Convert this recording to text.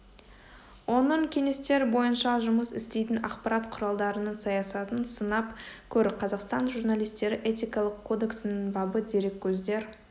оның кеңестер бойынша жұмыс істейтін ақпарат құралдарының саясатын сынап көр қазақстан журналистері этикалық кодексінің бабы дереккөздер